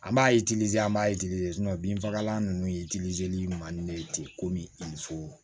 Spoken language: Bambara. An b'a an b'a binfagalan ninnu ye man di ne ye ten komi so